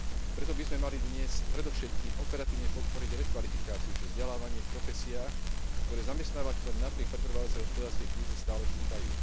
Preto by sme mali dnes predovšetkým operatívne podporiť rekvalifikáciu, čiže vzdelávanie v profesiách, ktoré zamestnávateľom napriek pretrvávajúcej hospodárskej kríze stále chýbajú.